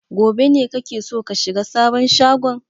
Gobe ne kake so ka shiga sabon shagon?